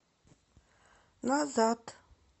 назад